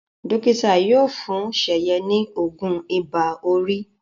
Dókítà yóò fún Seye ní oògùn Ibà-orí